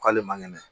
K'ale man kɛnɛ